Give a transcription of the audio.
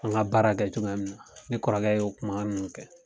An ka baara kɛ cogoya min na ne kɔrɔkɛ y'o o kuma ninnu kɛ.